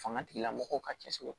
Fanga tigilamɔgɔw ka cɛsiri